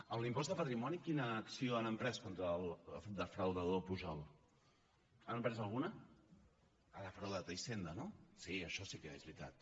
amb l’impost de patrimoni quina acció han emprès contra el defraudador pujol n’han emprès alguna ha defraudat hisenda no sí això sí que és veritat